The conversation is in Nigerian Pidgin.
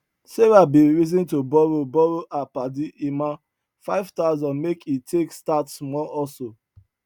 sarah bin reason to borrow borrow her padi emma five thousand make e take start small hustle